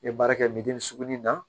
N ye baara kɛ suguni na